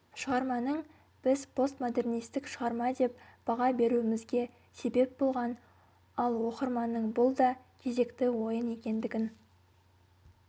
шығарманың біз постмодернистік шығарма деп баға беруімізге себеп болған ал оқырманның бұл да кезекті ойын екендігін